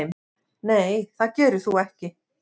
Nei það gerir þú ekki.